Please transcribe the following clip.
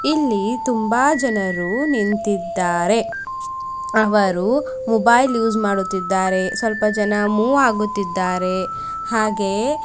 ಇಲ್ಲಿ ತುಂಬಾ ಜನರು ನಿಂತಿದ್ದಾರೆ ಅವರು ಮೊಬೈಲ್ ಯುಸ್ ಮಾಡುತ್ತಿದ್ದಾರೆ ಸ್ವಲ್ಪ ಜನ ಮೂವ್ ಆಗುತ್ತಿದ್ದಾರೆ ಹಾಗೆಯೇ --